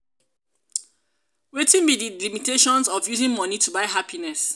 wetin be di limitations of using money to buy happiness?